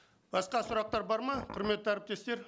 басқа сұрақтар бар ма құрметті әріптестер